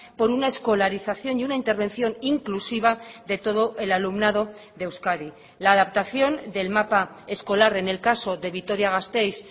por una escolarización y una intervención inclusiva de todo el alumnado de euskadi la adaptación del mapa escolar en el caso de vitoria gasteiz